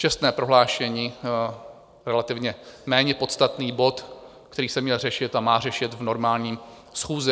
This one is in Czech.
Čestné prohlášení - relativně méně podstatný bod, který se měl řešit a má řešit v normální schůzi.